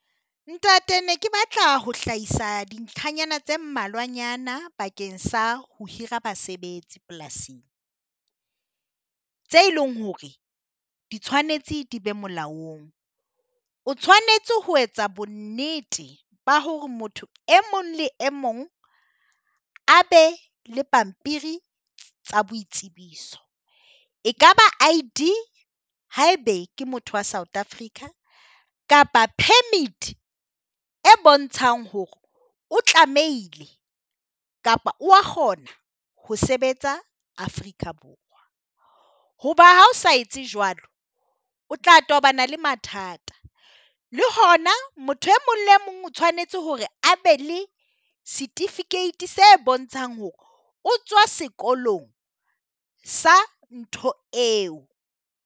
Ntate ne ke batla ho hlahisa dintlhanyana tse mmalwanyana bakeng sa ho hira basebetsi polasing, tse e leng hore di tshwanetse di be molaong. O tshwanetse ho etsa bonnete ba hore motho e mong le mong a be le pampiri tsa boitsebiso, e ka ba I_D haebe ke motho wa South Africa kapa permit e bontshang hore o tlamehile kapa o wa kgona ho sebetsa Afrika Borwa. Hoba ha o sa etse jwalo o tla tobana le mathata le hona motho e mong le mong o tshwanetse hore a be le setifikeiti se bontshang hore o tswa sekolong sa ntho eo.